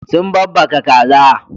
Sun babbaka kaza.